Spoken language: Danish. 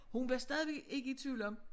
Hun var stadigvæk ikke i tvivl om